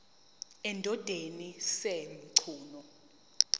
endodeni sj mchunu